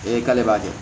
Ee k'ale b'a kɛ